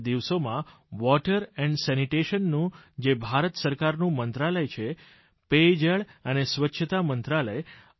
ગત દિવસોમાં water and sanitation નું જે ભારત સરકારનું મંત્રાલય છે પેયજળ અને સ્વચ્છતા મંત્રાલય